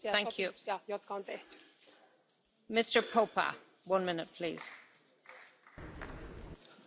Doamna președintă, stimați colegi, apreciez discursul domnului Juncker, echilibrat și responsabil.